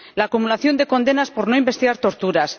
la acumulación de condenas por no investigar torturas